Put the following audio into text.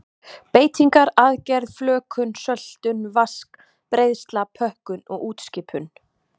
Beitingar, aðgerð, flökun, söltun, vask, breiðsla, pökkun og útskipun.